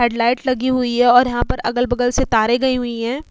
Headlight लगी हुई हैं और यहाँ पर अगल बगल से तारे गई हुई हैं।